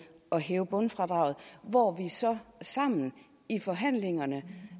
at hæve bundfradraget hvor vi så sammen i forhandlingerne